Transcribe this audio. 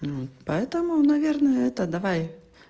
вот поэтому наверное это давай